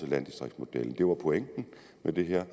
landdistriktsmodellen det var pointen med det her